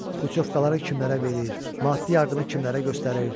Putyovkaları kimlərə verir, maddi yardımı kimlərə göstərir.